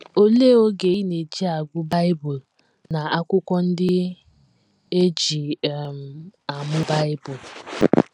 Olee oge ị na - eji agụ Bible na akwụkwọ ndị e ji um amụ Bible?